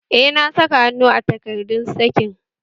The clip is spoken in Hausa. Eh, na saka hannu a takardun sakin